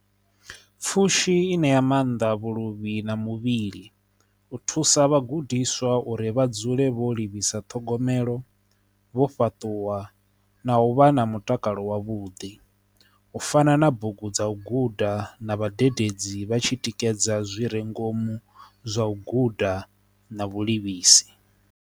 Pfhushi i ṋea maanḓa vhuluvhi na muvhili u thusa vhagudiswa uri vha dzule vho livhisa ṱhogomelo vho fhaṱuwa na vha na mutakalo wavhuḓi u fana na bugu dza u guda na vhadededzi vha tshi tikedza zwi re ngomu zwa u guda na vhulimisi.